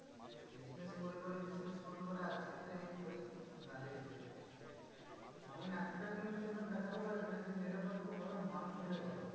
Business করে করে, business করে করে, আজকে তো এই পরিস্থিতিতে দাঁড়িয়েছে। এমন একটা news channel দেখাতে পারবে যে, নিরপেক্ষ ভাবে মানুষের হয়ে কথা বলে।